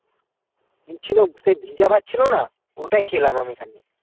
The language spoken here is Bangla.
সেই ভিজা ভাত ছিল না ওটাই খেলাম আমি খানিক